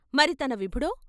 మరి తన విభుడో?